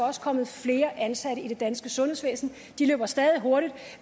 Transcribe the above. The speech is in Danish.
også kommet flere ansatte i det danske sundhedsvæsen de løber stadig hurtigt